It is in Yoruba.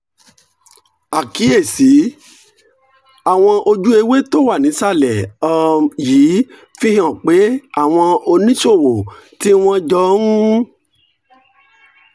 àkíyèsí: àwọn ojúewé tó wà nísàlẹ̀ um yìí fi hàn pé àwọn oníṣòwò tí wọ́n jọ ń